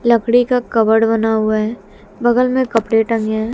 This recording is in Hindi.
लकड़ी का कवर्ड बना हुआ है बगल में कपड़े टंगे हुए हैं।